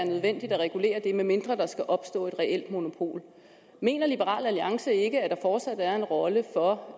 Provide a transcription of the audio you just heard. nødvendigt at regulere det medmindre der skulle opstå et reelt monopol mener liberal alliance ikke at der fortsat er en rolle for